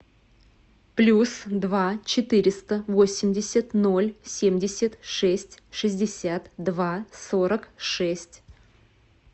плюс два четыреста восемьдесят ноль семьдесят шесть шестьдесят два сорок шесть